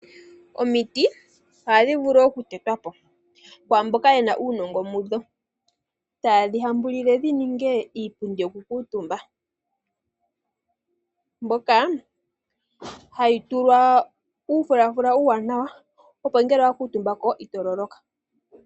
Omiti ohadhi vulu oku tetwapo kaamboka yena uunongo mu dho, taye dhihambulile dhi ninge iipundi yo ku kaantumba, mbyoka hayi tulwa uufulafula uuwanawa, opo ngele owa kalako omutumba, ito loloka.